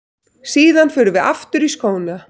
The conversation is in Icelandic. Síðan förum við aftur í skóna.